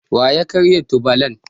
Wa ya karya tubalan?